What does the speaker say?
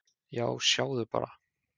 """Já, sjáðu bara!"""